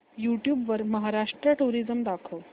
YouTube वर Maharashtra tourism दाखव